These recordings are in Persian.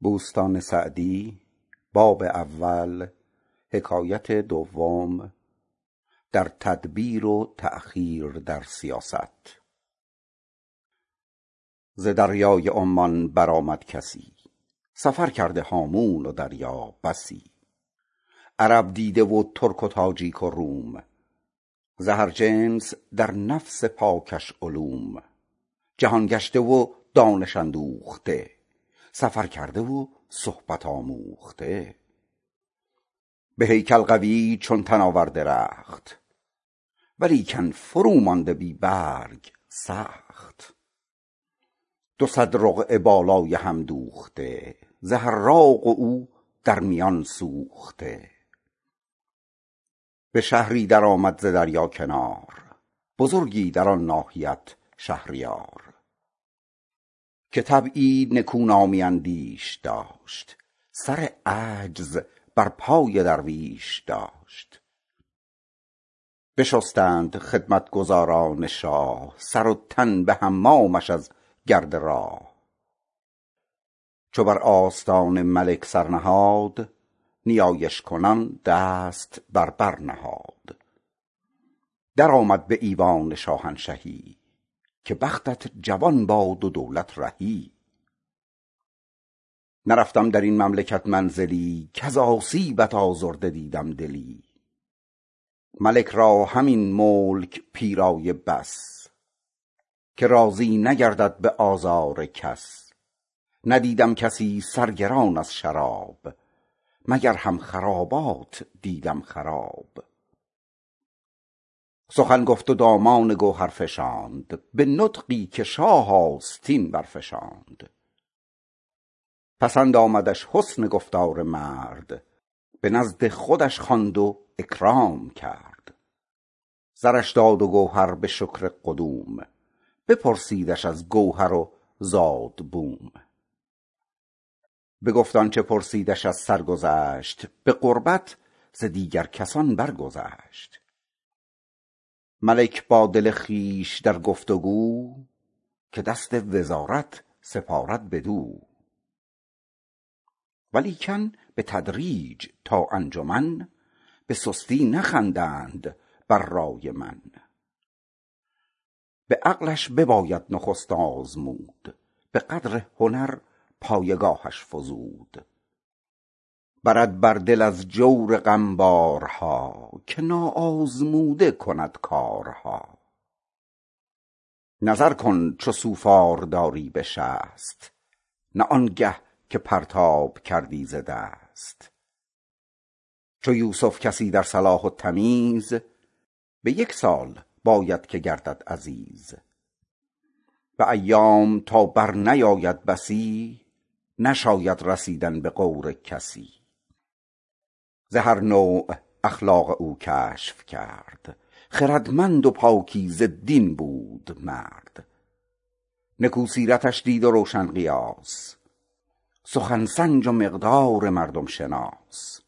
ز دریای عمان برآمد کسی سفر کرده هامون و دریا بسی عرب دیده و ترک و تاجیک و روم ز هر جنس در نفس پاکش علوم جهان گشته و دانش اندوخته سفر کرده و صحبت آموخته به هیکل قوی چون تناور درخت ولیکن فرو مانده بی برگ سخت دو صد رقعه بالای هم دوخته ز حراق و او در میان سوخته به شهری در آمد ز دریا کنار بزرگی در آن ناحیت شهریار که طبعی نکونامی اندیش داشت سر عجز در پای درویش داشت بشستند خدمتگزاران شاه سر و تن به حمامش از گرد راه چو بر آستان ملک سر نهاد نیایش کنان دست بر بر نهاد درآمد به ایوان شاهنشهی که بختت جوان باد و دولت رهی نرفتم در این مملکت منزلی کز آسیب آزرده دیدم دلی ندیدم کسی سرگران از شراب مگر هم خرابات دیدم خراب ملک را همین ملک پیرایه بس که راضی نگردد به آزار کس سخن گفت و دامان گوهر فشاند به نطقی که شه آستین برفشاند پسند آمدش حسن گفتار مرد به نزد خودش خواند و اکرام کرد زرش داد و گوهر به شکر قدوم بپرسیدش از گوهر و زاد و بوم بگفت آنچه پرسیدش از سرگذشت به قربت ز دیگر کسان بر گذشت ملک با دل خویش با گفت و گو که دست وزارت سپارد بدو ولیکن بتدریج تا انجمن به سستی نخندند بر رای من به عقلش بباید نخست آزمود به قدر هنر پایگاهش فزود برد بر دل از جور غم بارها که نا آزموده کند کارها چو قاضی به فکرت نویسد سجل نگردد ز دستاربندان خجل نظر کن چو سوفار داری به شست نه آنگه که پرتاب کردی ز دست چو یوسف کسی در صلاح و تمیز به یک سال باید که گردد عزیز به ایام تا بر نیاید بسی نشاید رسیدن به غور کسی ز هر نوع اخلاق او کشف کرد خردمند و پاکیزه دین بود مرد نکو سیرتش دید و روشن قیاس سخن سنج و مقدار مردم شناس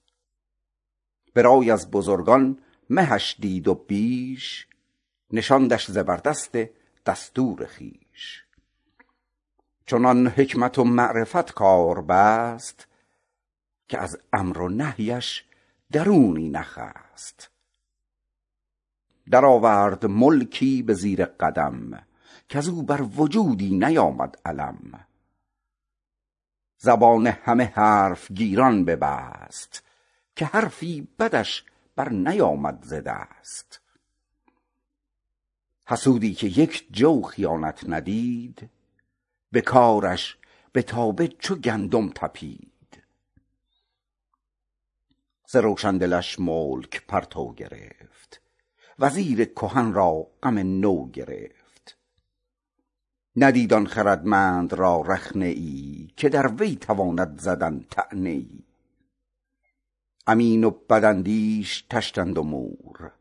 به رای از بزرگان مهش دید و بیش نشاندش زبردست دستور خویش چنان حکمت و معرفت کار بست که از امر و نهیش درونی نخست در آورد ملکی به زیر قلم کز او بر وجودی نیامد الم زبان همه حرف گیران ببست که حرفی بدش بر نیامد ز دست حسودی که یک جو خیانت ندید به کارش نیامد چو گندم تپید ز روشن دلش ملک پرتو گرفت وزیر کهن را غم نو گرفت ندید آن خردمند را رخنه ای که در وی تواند زدن طعنه ای امین و بد اندیش طشتند و مور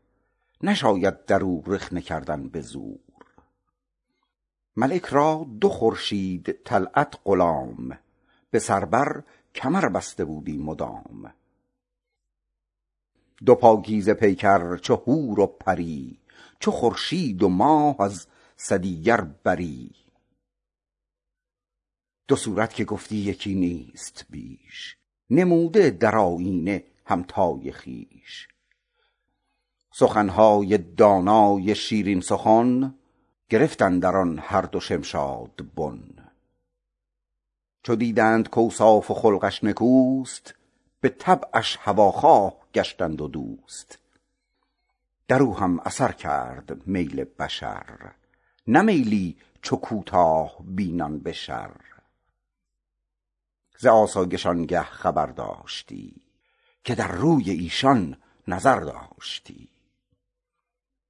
نشاید در او رخنه کردن به زور ملک را دو خورشید طلعت غلام به سر بر کمر بسته بودی مدام دو پاکیزه پیکر چو حور و پری چو خورشید و ماه از سدیگر بری دو صورت که گفتی یکی نیست بیش نموده در آیینه همتای خویش سخنهای دانای شیرین سخن گرفت اندر آن هر دو شمشاد بن چو دیدند کاوصاف و خلقش نکوست به طبعش هواخواه گشتند و دوست در او هم اثر کرد میل بشر نه میلی چو کوتاه بینان به شر از آسایش آنگه خبر داشتی که در روی ایشان نظر داشتی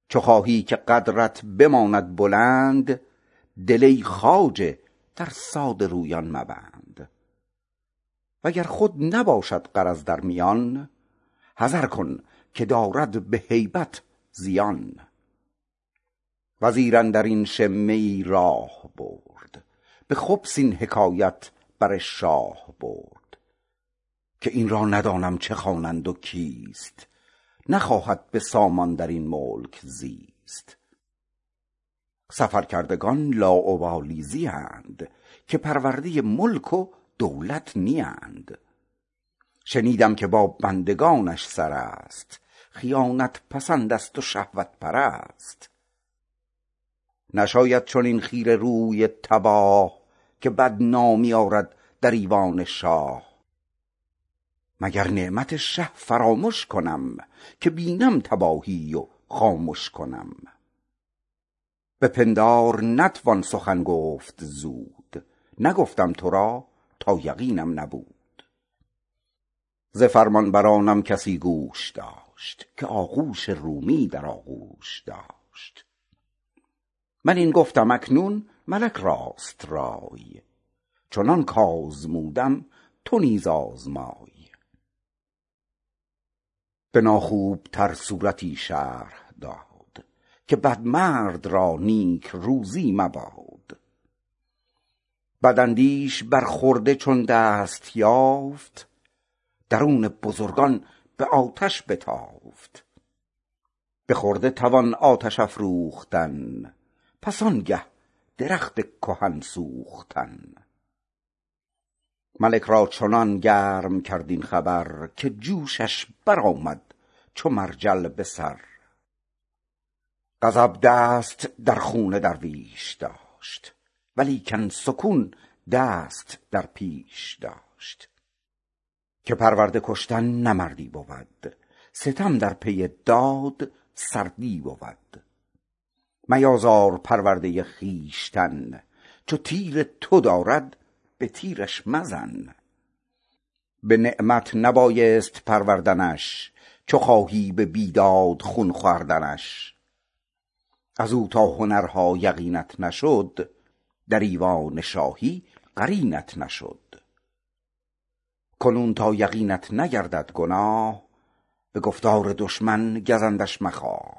چو خواهی که قدرت بماند بلند دل ای خواجه در ساده رویان مبند وگر خود نباشد غرض در میان حذر کن که دارد به هیبت زیان وزیر اندر این شمه ای راه برد به خبث این حکایت بر شاه برد که این را ندانم چه خوانند و کیست نخواهد به سامان در این ملک زیست سفر کردگان لاابالی زیند که پرورده ملک و دولت نیند شنیدم که با بندگانش سر است خیانت پسند است و شهوت پرست نشاید چنین خیره روی تباه که بد نامی آرد در ایوان شاه مگر نعمت شه فرامش کنم که بینم تباهی و خامش کنم به پندار نتوان سخن گفت زود نگفتم تو را تا یقینم نبود ز فرمانبرانم کسی گوش داشت که آغوش را اندر آغوش داشت من این گفتم اکنون ملک راست رای چو من آزمودم تو نیز آزمای به ناخوب تر صورتی شرح داد که بد مرد را نیکروزی مباد بداندیش بر خرده چون دست یافت درون بزرگان به آتش بتافت به خرده توان آتش افروختن پس آنگه درخت کهن سوختن ملک را چنان گرم کرد این خبر که جوشش برآمد چو مرجل به سر غضب دست در خون درویش داشت ولیکن سکون دست در پیش داشت که پرورده کشتن نه مردی بود ستم در پی داد سردی بود میازار پرورده خویشتن چو تیر تو دارد به تیرش مزن به نعمت نبایست پروردنش چو خواهی به بیداد خون خوردنش از او تا هنرها یقینت نشد در ایوان شاهی قرینت نشد کنون تا یقینت نگردد گناه به گفتار دشمن گزندش مخواه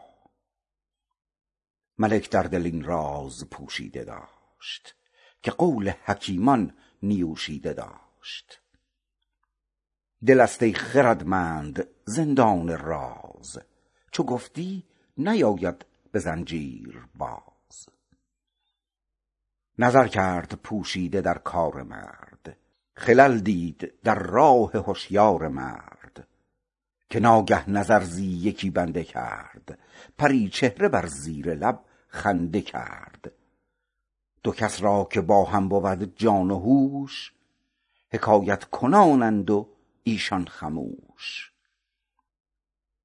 ملک در دل این راز پوشیده داشت که قول حکیمان نیوشیده داشت دل است ای خردمند زندان راز چو گفتی نیاید به زنجیر باز نظر کرد پوشیده در کار مرد خلل دید در رای هشیار مرد که ناگه نظر زی یکی بنده کرد پری چهره در زیر لب خنده کرد دو کس را که با هم بود جان و هوش حکایت کنانند و ایشان خموش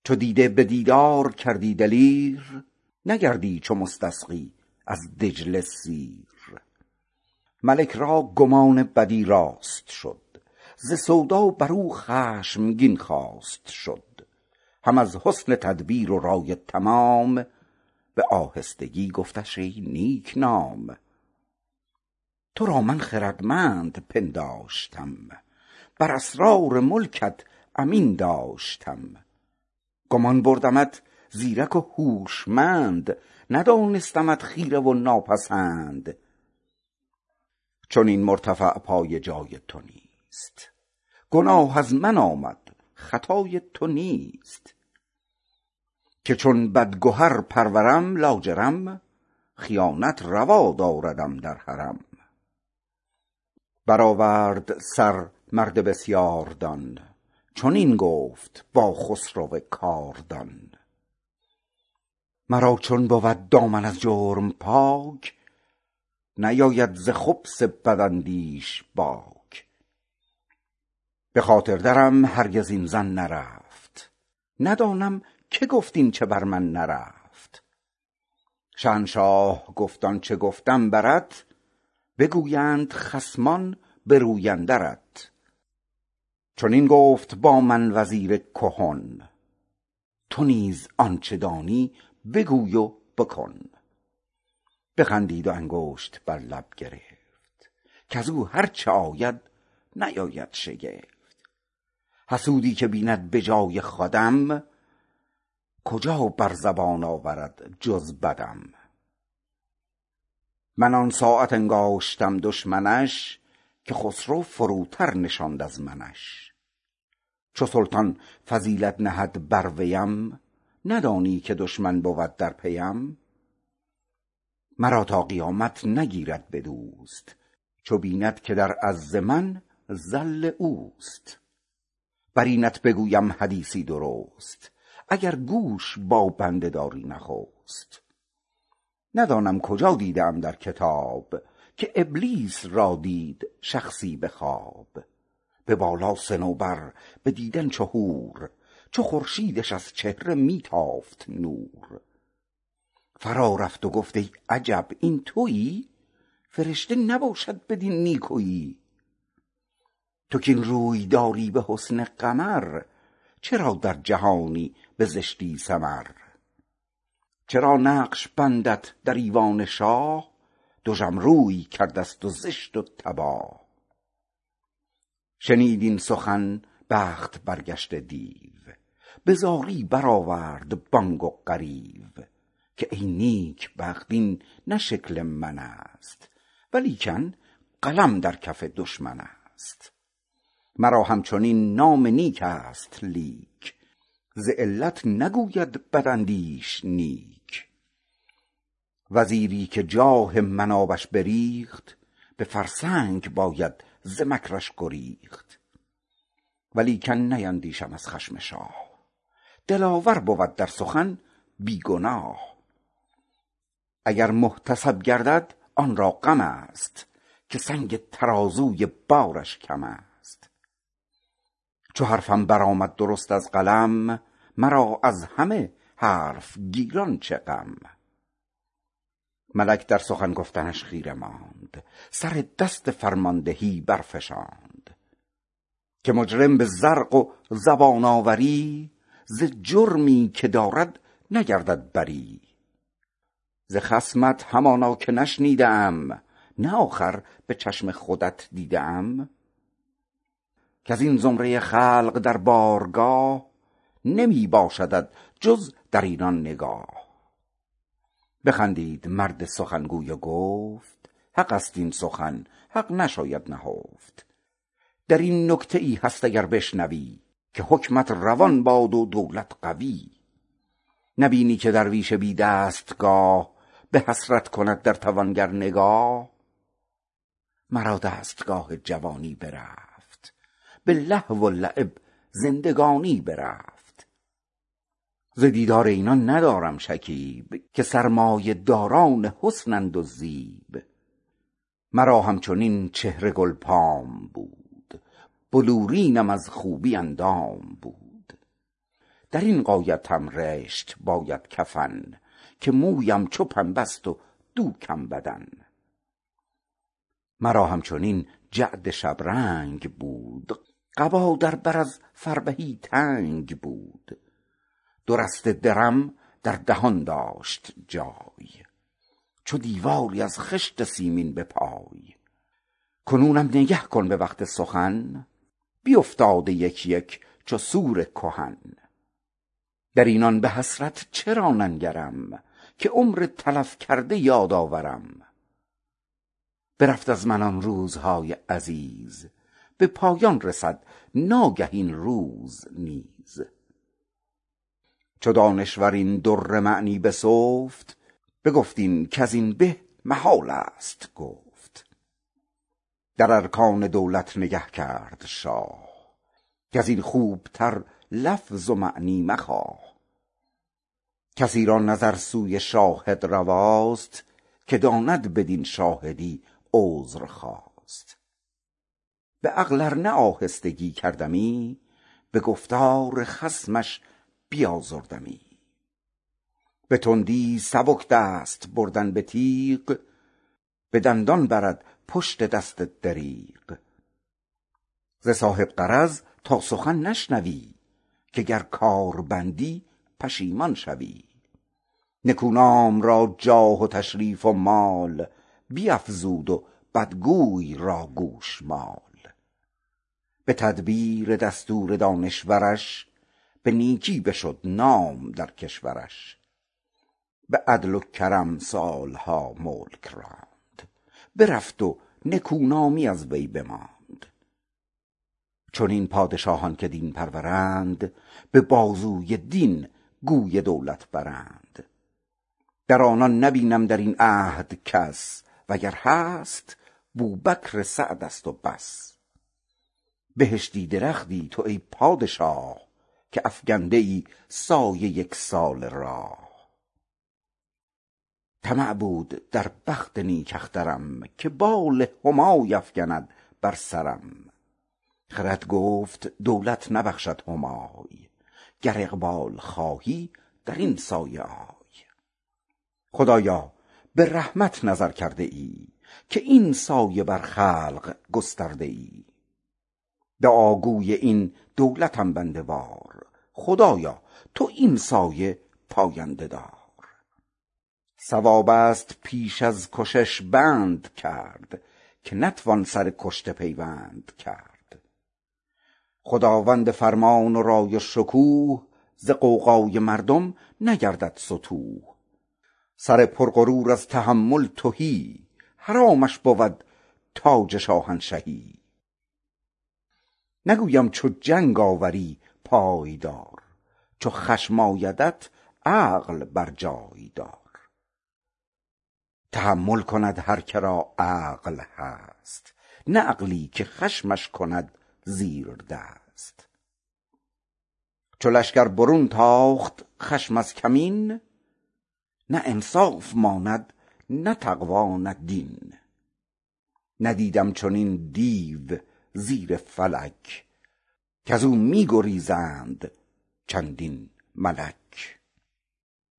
چو دیده به دیدار کردی دلیر نگردی چو مستسقی از دجله سیر ملک را گمان بدی راست شد ز سودا بر او خشمگین خواست شد هم از حسن تدبیر و رای تمام به آهستگی گفتش ای نیک نام تو را من خردمند پنداشتم بر اسرار ملکت امین داشتم گمان بردمت زیرک و هوشمند ندانستمت خیره و ناپسند چنین مرتفع پایه جای تو نیست گناه از من آمد خطای تو نیست که چون بدگهر پرورم لاجرم خیانت روا داردم در حرم برآورد سر مرد بسیاردان چنین گفت با خسرو کاردان مرا چون بود دامن از جرم پاک نباشد ز خبث بداندیش باک به خاطر درم هرگز این ظن نرفت ندانم که گفت آنچه بر من نرفت شهنشاه گفت آنچه گفتم برت بگویند خصمان به روی اندرت چنین گفت با من وزیر کهن تو نیز آنچه دانی بگوی و بکن تسبم کنان دست بر لب گرفت کز او هر چه آید نیاید شگفت حسودی که بیند به جای خودم کجا بر زبان آورد جز بدم من آن ساعت انگاشتم دشمنش که بنشاند شه زیردست منش چو سلطان فضیلت نهد بر ویم ندانی که دشمن بود در پیم مرا تا قیامت نگیرد به دوست چو بیند که در عز من ذل اوست بر اینت بگویم حدیثی درست اگر گوش با بنده داری نخست ندانم کجا دیده ام در کتاب که ابلیس را دید شخصی به خواب به بالا صنوبر به دیدن چو حور چو خورشیدش از چهره می تافت نور فرا رفت و گفت ای عجب این تویی فرشته نباشد بدین نیکویی تو کاین روی داری به حسن قمر چرا در جهانی به زشتی سمر چرا نقش بندت در ایوان شاه دژم روی کرده ست و زشت و تباه شنید این سخن بخت برگشته دیو به زاری برآورد بانگ و غریو که ای نیکبخت این نه شکل من است ولیکن قلم در کف دشمن است مرا همچنین نام نیک است لیک ز علت نگوید بداندیش نیک وزیری که جاه من آبش بریخت به فرسنگ باید ز مکرش گریخت ولیکن نیندیشم از خشم شاه دلاور بود در سخن بی گناه اگر محتسب گردد آن را غم است که سنگ ترازوی بارش کم است چو حرفم برآید درست از قلم مرا از همه حرف گیران چه غم ملک در سخن گفتنش خیره ماند سر دست فرماندهی برفشاند که مجرم به زرق و زبان آوری ز جرمی که دارد نگردد بری ز خصمت همانا که نشنیده ام نه آخر به چشم خودم دیده ام کز این زمره خلق در بارگاه نمی باشدت جز در اینان نگاه بخندید مرد سخنگوی و گفت حق است این سخن حق نشاید نهفت در این نکته ای هست اگر بشنوی که حکمت روان باد و دولت قوی نبینی که درویش بی دستگاه به حسرت کند در توانگر نگاه مرا دستگاه جوانی برفت به لهو و لعب زندگانی برفت ز دیدار اینان ندارم شکیب که سرمایه داران حسنند و زیب مرا همچنین چهره گلفام بود بلورینم از خوبی اندام بود در این غایتم رشت باید کفن که مویم چو پنبه ست و دوکم بدن مرا همچنین جعد شبرنگ بود قبا در بر از نازکی تنگ بود دو رشته درم در دهن داشت جای چو دیواری از خشت سیمین به پای کنونم نگه کن به وقت سخن بیفتاده یک یک چو سور کهن در اینان به حسرت چرا ننگرم که عمر تلف کرده یاد آورم برفت از من آن روزهای عزیز به پایان رسد ناگه این روز نیز چو دانشور این در معنی بسفت بگفت این کز این به محال است گفت در ارکان دولت نگه کرد شاه کز این خوبتر لفظ و معنی مخواه کسی را نظر سوی شاهد رواست که داند بدین شاهدی عذر خواست به عقل ار نه آهستگی کردمی به گفتار خصمش بیازردمی به تندی سبک دست بردن به تیغ به دندان برد پشت دست دریغ ز صاحب غرض تا سخن نشنوی که گر کار بندی پشیمان شوی نکونام را جاه و تشریف و مال بیفزود و بدگوی را گوشمال به تدبیر دستور دانشورش به نیکی بشد نام در کشورش به عدل و کرم سالها ملک راند برفت و نکونامی از وی بماند چنین پادشاهان که دین پرورند به بازوی دین گوی دولت برند از آنان نبینم در این عهد کس وگر هست بوبکر سعد است و بس بهشتی درختی تو ای پادشاه که افکنده ای سایه یک ساله راه طمع بود از بخت نیک اخترم که بال همای افکند بر سرم خرد گفت دولت نبخشد همای گر اقبال خواهی در این سایه آی خدایا به رحمت نظر کرده ای که این سایه بر خلق گسترده ای دعا گوی این دولتم بنده وار خدایا تو این سایه پاینده دار صواب است پیش از کشش بند کرد که نتوان سر کشته پیوند کرد خداوند فرمان و رای و شکوه ز غوغای مردم نگردد ستوه سر پر غرور از تحمل تهی حرامش بود تاج شاهنشهی نگویم چو جنگ آوری پای دار چو خشم آیدت عقل بر جای دار تحمل کند هر که را عقل هست نه عقلی که خشمش کند زیردست چو لشکر برون تاخت خشم از کمین نه انصاف ماند نه تقوی نه دین ندیدم چنین دیو زیر فلک که از وی گریزند چندین ملک